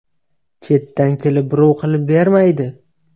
Chetdan kelib birov qilib bermaydi.